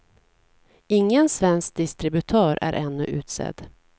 Ingen svensk distributör är ännu utsedd.